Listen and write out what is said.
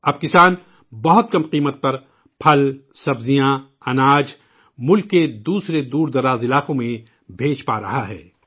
اب کسان بہت کم قیمت پر پھل، سبزیاں ، اناج، ملک کے دوسرے دور دراز علاقوں میں بھیج پا رہا ہے